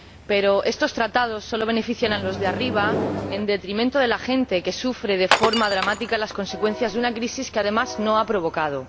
Pero estos tratados solo benefician a los de arriba, en detrimento de la gente que sufre de forma dramática las consecuencias de una crisis que, además, no ha provocado.